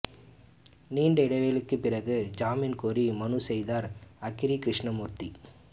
நீண்ட இடைவெளிக்குப் பிறகு ஜாமீன் கோரி மனு செய்தார் அக்ரி கிருஷ்ணமூர்த்தி